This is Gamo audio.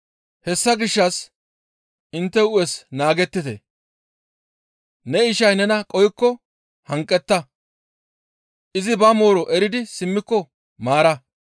Hessa gishshas intte hu7es naagettite. ‹Ne ishay nena qohikko hanqetta; izi ba mooro eridi simmiko maara.›